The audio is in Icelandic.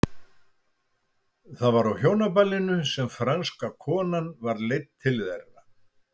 Það var á hjónaballinu sem franska konan var leidd til þeirra.